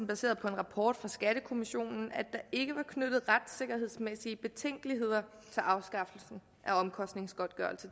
baseret på en rapport fra skattekommissionen at der ikke var knyttet retssikkerhedsmæssige betænkeligheder til afskaffelsen af omkostningsgodtgørelse